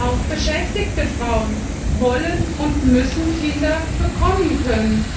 Auch beschäftigte Frauen wollen und müssen Kinder bekommen können.